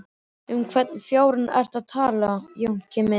Um hvern fjárann ertu að tala, Jónki minn!